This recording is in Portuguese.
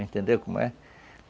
Entendeu como é?